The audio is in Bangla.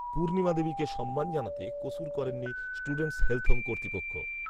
পূর্ণিমা দেবীকে সম্মান জানাতে কসুর করেনি স্টুডেন্টস হেলথ হোম কর্তৃপক্ষ